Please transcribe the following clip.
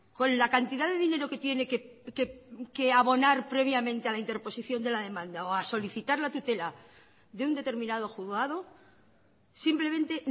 con la cantidad de dinero que tiene que abonar previamente a la interposición de la demanda o a solicitar la tutela de un determinado juzgado simplemente